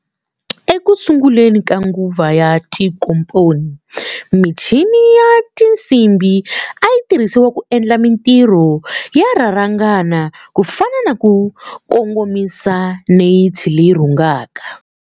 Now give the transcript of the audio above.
Ekusunguleni ka nguva ya tinkomponi, michini ya tinsimbhi a yitirhisiwa ku endla mintirho yo rharhangana ku fana na ku kongomisa neyithi leyi rhungaka.